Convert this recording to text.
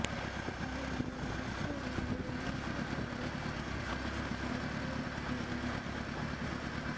ಹಾಗೆ ನೋಡಿದರೆ ಸಂಸ್ಥೆಯ ರೂವಾರಿ ಸರಸ್ವತಿ ಅವರು ಕೇಂದ್ರ ಸರ್ಕಾರಿ ಉದ್ಯೋಗಿಯಾಗಿದ್ದವರು